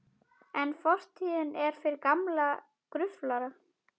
En fortíðin er fyrir gamla gruflara.